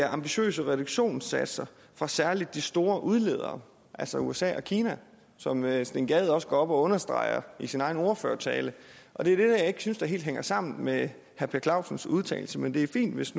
ambitiøse reduktionssatser fra særlig de store udledere altså usa og kina som herre steen gade også understregede i sin egen ordførertale og det er det jeg ikke synes hænger helt sammen med herre per clausens udtalelse men det er fint hvis